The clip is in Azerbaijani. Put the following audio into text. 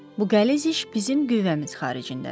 Bu qəliz iş bizim güvvəmiz xaricindədir.